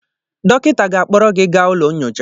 Dọkịta ga-akpọrọ gị gaa ụlọ nyocha